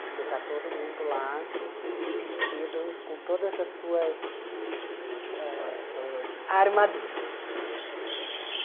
Porque está todo mundo lá, vestido com todas as suas ãh armaduras.